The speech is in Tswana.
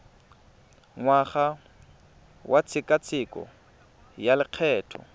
ngwaga wa tshekatsheko ya lokgetho